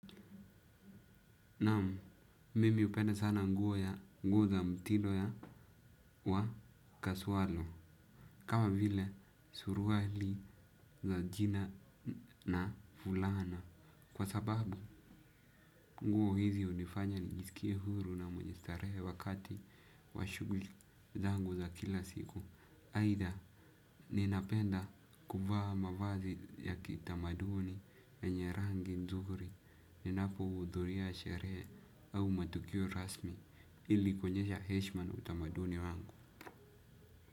Naam, mimi upenda sana nguo ya nguo za mtindo ya wa kasualo. Kama vile suruali za jina na fulana. Kwa sababu, nguo hizi hunifanya njisikie huru na mwenye starehe wakati wa shuguli zangu za kila siku. Aitha ninapenda kuvaa mavazi ya kitamaduni yenye rangi nzuri. Ninapo hudhuria sheree au matukio rasmi ili kuonyesha Hesha na utamaduni wangu.